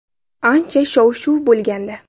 Ancha shov-shuv bo‘lgandi.